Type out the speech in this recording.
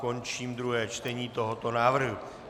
Končím druhé čtení tohoto návrhu.